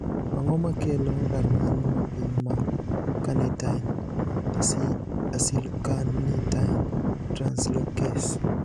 Ang`o makelo rang`iny mapiny mar carnitine acylcarnitine translocase?